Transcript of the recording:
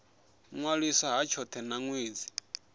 ṅwaliswa ha tshothe na ṅwedzi